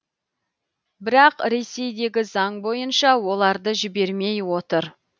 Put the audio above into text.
бірақ ресейдегі заң бойынша оларды жібермей отыр